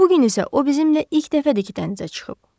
Bu gün isə o bizimlə ilk dəfədir ki dənizə çıxıb.